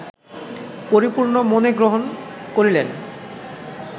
পরিপূর্ণ মনে গ্রহণ করিলেন